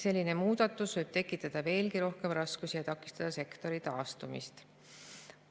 Selline muudatus võib tekitada veelgi rohkem raskusi ja takistada sektori taastumist.